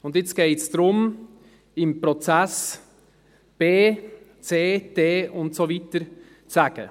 Und jetzt geht es darum, im Prozess B, C, D und so weiter zu sagen.